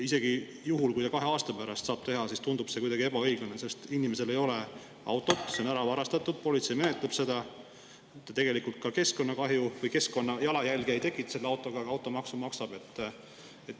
Isegi juhul, kui ta kahe aasta pärast saab avalduse teha, tundub see kuidagi ebaõiglane, sest inimesel ei ole autot, see on ära varastatud, politsei menetleb seda, tegelikult ka keskkonnakahju või keskkonnajalajälge ta ei tekita selle autoga, aga automaksu maksab.